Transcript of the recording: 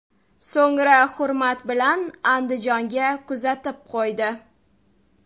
So‘ngra hurmat bilan Andijonga kuzatib qo‘ydi.